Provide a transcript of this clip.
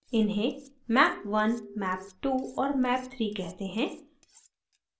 इन्हें map 1 map 2 और map 3 कहते हैं